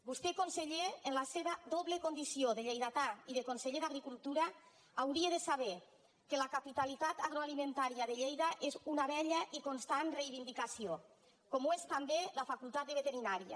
vostè conseller en la seva doble condició de lleidatà i de conseller d’agricultura hauria de saber que la capitalitat agroalimentària de lleida és una vella i constant reivindicació com ho és també la facultat de veterinària